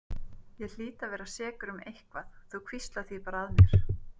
Ég hlýt að vera sekur um eitthvað, þú hvíslar því bara að mér.